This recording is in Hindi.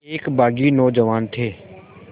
एक बाग़ी नौजवान थे